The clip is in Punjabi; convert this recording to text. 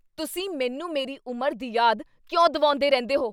ਤੁਸੀਂ ਮੈਨੂੰ ਮੇਰੀ ਉਮਰ ਦੀ ਯਾਦ ਕਿਉਂ ਦਿਵਾਉਂਦੇ ਰਹਿੰਦੇ ਹੋ?